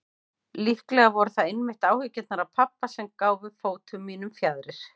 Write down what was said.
Líklega voru það einmitt áhyggjurnar af pabba sem gáfu fótum mínum fjaðrir.